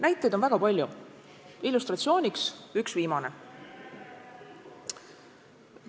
Näiteid on väga palju, illustratsiooniks üks viimane.